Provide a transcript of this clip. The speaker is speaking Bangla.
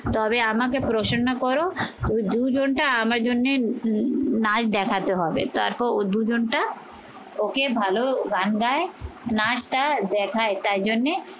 তবে আমাকে প্রসন্ন করো ওই দুজনটা আমার জন্যে নাচ দেখাতে হবে তারপর দুজনটা ওকে ভালো গান গায় নাচটা দেখায় তাই জন্যে